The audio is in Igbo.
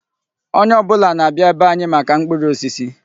Onye ọbụla na-abịa be anyị maka mkpụrụ osisi.